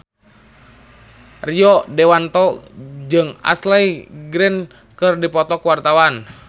Rio Dewanto jeung Ashley Greene keur dipoto ku wartawan